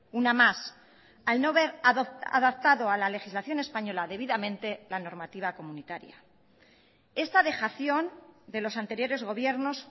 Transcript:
una más al no ver adaptado a la legislación española debidamente la normativa comunitaria esta dejación de los anteriores gobiernos